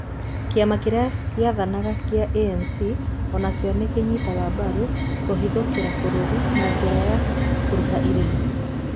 Kĩama kĩrĩa gĩathanaga gĩa ANC o nakĩo nĩ kĩanyitaga mbaru kũhithũkĩra bũrũri na njĩra ya kũrĩha irĩhi.